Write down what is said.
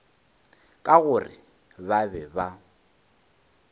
ka gore ba be ba